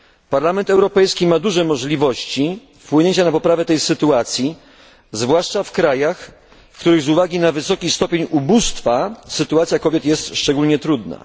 Parlament Europejski ma duże możliwości wpłynięcia na poprawę tej sytuacji, zwłaszcza w krajach, w których z uwagi na wysoki stopień ubóstwa sytuacja kobiet jest szczególnie trudna.